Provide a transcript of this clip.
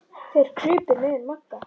Þeir krupu niður að Magga.